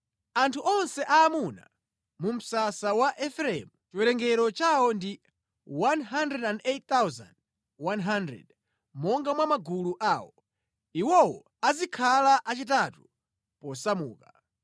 Anthu onse aamuna mu msasa wa Efereimu, chiwerengero chawo ndi 108,100 monga mwa magulu awo. Iwowo azikhala achitatu posamuka.